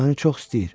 O məni çox istəyir.